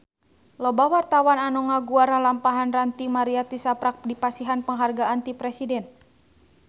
Loba wartawan anu ngaguar lalampahan Ranty Maria tisaprak dipasihan panghargaan ti Presiden